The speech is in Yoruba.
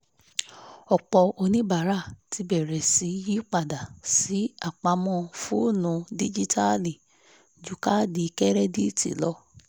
ọ̀pọ̀ oníbàárà ti bẹ̀rẹ̀ sí yí padà sí apamọ́ foonu díjíítàálì ju kaadi kẹ́rẹ́díìtì lọ